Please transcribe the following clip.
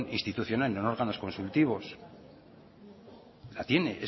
institucional en los órganos consultivos la tiene